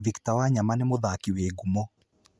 Victor Wanyama nĩ muthaki wĩ ngumo.